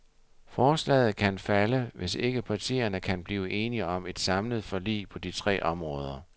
Forslaget kan falde, hvis ikke partierne kan blive enige om et samlet forlig på de tre områder.